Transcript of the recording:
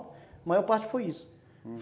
A maior parte foi isso.